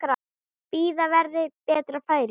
Bíða verði betra færis.